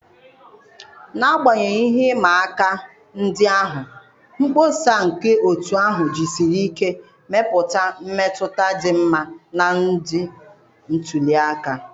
N'agbanyeghị ihe ịma aka ndị ahụ, mkpọsa nke otu ahụ jisiri ike mepụta mmetụta dị mma na ndị ntuli aka